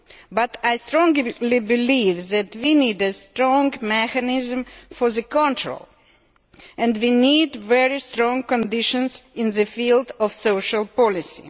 But I strongly believe that we need a strong mechanism for control and we need very strict conditions in the field of social policy.